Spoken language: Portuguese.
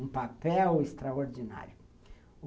um papel extraordinário.